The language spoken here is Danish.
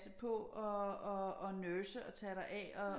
På og nurse og tage dig af